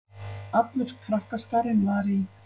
Allur krakkaskarinn var í